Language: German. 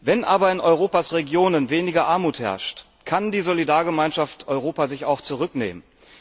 Wenn aber in Europas Regionen weniger Armut herrscht, kann die Solidargemeinschaft Europa sich auch zurücknehmen.